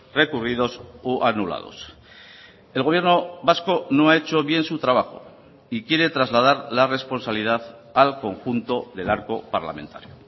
recurridos o anulados el gobierno vasco no ha hecho bien su trabajo y quiere trasladar la responsabilidad al conjunto del arco parlamentario